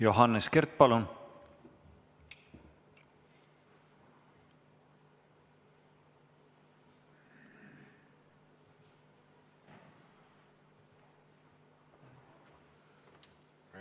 Johannes Kert, palun!